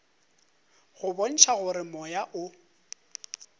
go bontšha gore moya o